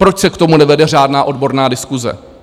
Proč se k tomu nevede řádná odborná diskuse?